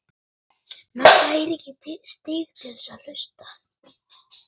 Inga Það hjálpar mjög mikið.